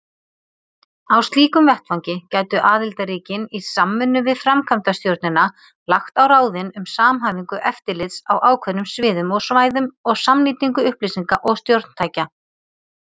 Á slíkum vettvangi gætu aðildarríkin, í samvinnu við framkvæmdastjórnina, lagt á ráðin um samhæfingu eftirlits á ákveðnum sviðum og svæðum og samnýtingu upplýsinga og stjórntækja.